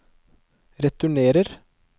returnerer